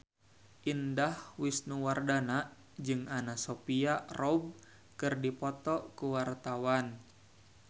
Indah Wisnuwardana jeung Anna Sophia Robb keur dipoto ku wartawan